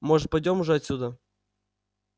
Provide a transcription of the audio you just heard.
может пойдём уже отсюда